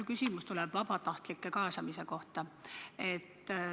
Mu küsimus on vabatahtlike kaasamise kohta.